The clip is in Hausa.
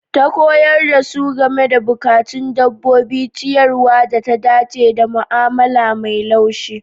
Ta Koyar da su game da bukatun dabbobi, ciyarwar da ta dace, da mu'amala mai laushi.